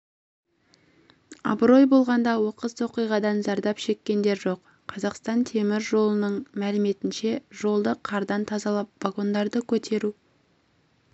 абырой болғанда оқыс оқиғадан зардап шеккендер жоқ қазақстан темір жолының мәліметінше жолды қардан тазалап вагондарды көтеру